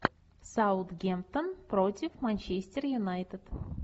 саутгемптон против манчестер юнайтед